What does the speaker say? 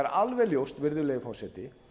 alveg ljóst virðulegi forseti